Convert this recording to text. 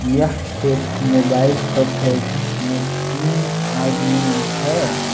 यह एक mobile shop है जिसमें तीन आदमी है।